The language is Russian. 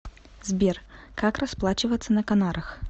сбер как расплачиваться на канарах